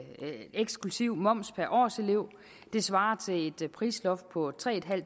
eksklusive moms per årselev det svarer til et prisloft på tre